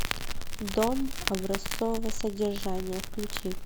дом образцового содержания включи